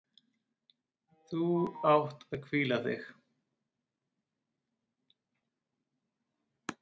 Þú átt að hvíla þig.